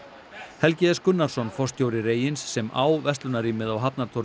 Helgi s Gunnarsson forstjóri sem á verslunarrýmið á